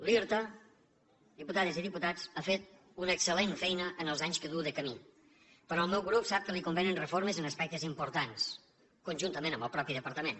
l’irta diputades i diputats ha fet una excel·lent feina en els anys que du de camí però el meu grup sap que li convenen reformes en aspectes importants conjuntament amb el mateix departament